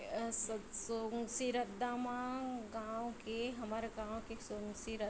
ए सोनसी रद्दा म गाँव के हमर गाँव के सोनसी र--